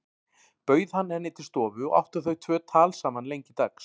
Bauð hann henni til stofu og áttu þau tvö tal saman lengi dags.